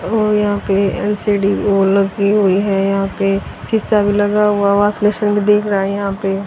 और यहां पे एल_सी_डी वो लगी हुई है यहां पे शीशा भी लगा हुआ वॉश लेसन भी दिख रहा है यहां पे।